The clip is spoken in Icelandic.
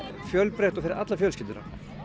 fjölbreytt og fyrir alla fjölskylduna